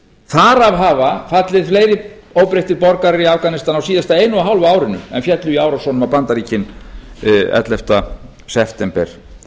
þar af hafa fallið fleiri óbreyttir borgarar í afganistan á síðasta einu og hálfa árinu en féllu í árásunum á bandaríkin ellefta september